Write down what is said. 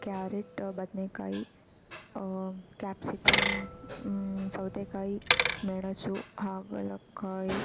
carrot ಬದನೇಕಾಯಿ ಅಹ್ capsicum ಸೌತೆಕಾಯಿ ಮೆಣಸು ಹಾಗು ಹಾಗಲಕಾಯಿ --